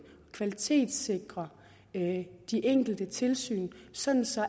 og kvalitetssikre de enkelte tilsyn sådan så